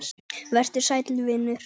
Vertu sæll vinur.